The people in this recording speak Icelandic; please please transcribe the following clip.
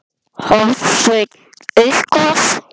Hafsteinn: Eitthvað?